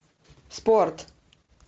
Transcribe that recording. спорт